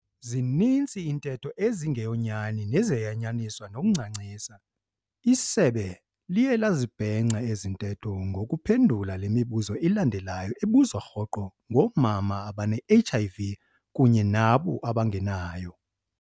Zininzi iintetho ezingeyonyani nezayanyaniswa nokuncancisa, isebe liye lazibhenca ezintetho ngokuphendula le mibuzo ilandelayo ebuzwa rhoqo ngoomama abane-HIV kunye nabo bangenayo.